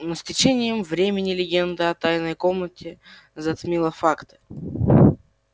но с течением времени легенда о тайной комнате затмила факты